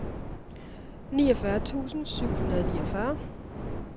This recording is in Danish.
niogfyrre tusind syv hundrede og niogfyrre